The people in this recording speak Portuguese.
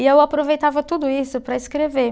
E eu aproveitava tudo isso para escrever.